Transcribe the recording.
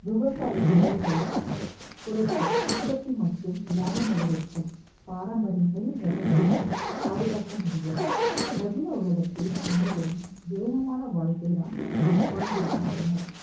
விவசாய செலவுகள் குறைத்து உற்பத்தி மற்றும் லாபம் அதிகரிக்கும் பாரம்பரியத்தில் ரகங்களையும் பாதுகாக்க முடியும் நவீன உலகத்தில் அனைவரும் வேகமான வாழ்க்கை தான் வாழ்ந்திருக்கின்றனர்